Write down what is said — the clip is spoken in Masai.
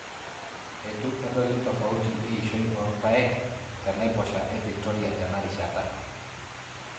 Eitu edoli tofauti eishoi oorpaek te tenaiposha e victoria tena rishata.